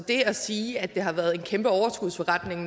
at sige at det nærmest har været en kæmpe overskudsforretning